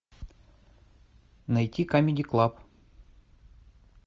найти камеди клаб